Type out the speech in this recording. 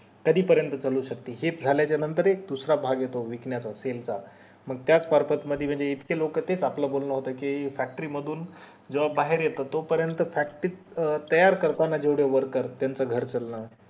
कधी पर्यंत चालू शकते हे झाल्या च्या नंतर एक दुसरा भाग येतो चा मंग त्याच purpose मध्ये कधी कधी इतके लोक तेच आपलं बोलणं होत कि factory मधून जेव्हा बाहेर येत तो पर्यंत factory त तयार करताना जेवढे worker त्यांचं घर चलन